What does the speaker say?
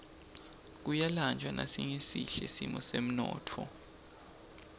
kuyalanjwa nasingesihle simo semnotfo